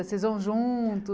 Vocês vão juntos,